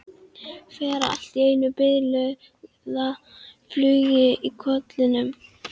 Fær allt í einu bilaða flugu í kollinn.